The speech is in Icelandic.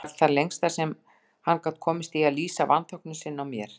Það var það lengsta sem hann gat komist í að lýsa vanþóknun sinni á mér.